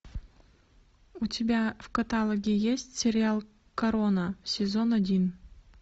у тебя в каталоге есть сериал корона сезон один